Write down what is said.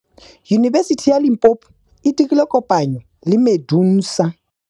Yunibesiti ya Limpopo e dirile kopanyô le MEDUNSA.